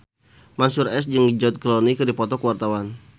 Mansyur S jeung George Clooney keur dipoto ku wartawan